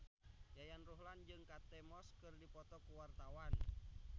Yayan Ruhlan jeung Kate Moss keur dipoto ku wartawan